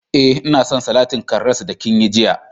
Eh, nna son salatin karras da kin yi jiya.